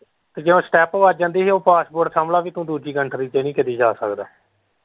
ਤੇ ਜਦ stump ਵੱਜ ਜਾਂਦੀ ਹੀ ਉਹ passport ਸਮਝ ਲੈ ਵੀ ਦੂਜੀ country ਚ ਨਹੀਂ ਕਦੀ ਜਾ ਸਕਦਾ।